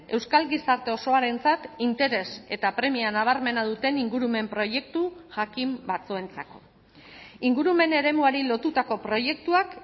euskal gizarte osoarentzat interes eta premia nabarmena duten ingurumen proiektu jakin batzuentzako ingurumen eremuari lotutako proiektuak